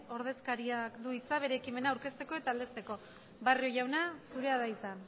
ordezkariak du hitza bere ekimena aurkezteko eta aldeztezteko barrio jauna zurea da hitza